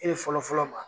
E de fɔlɔ fɔlɔ ma